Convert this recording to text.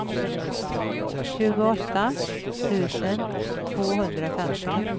tjugoåtta tusen tvåhundrafemtio